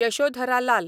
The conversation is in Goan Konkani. यशोधरा लाल